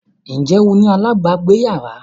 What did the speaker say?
Ǹjẹ́ o ní alábàágbéyàrá?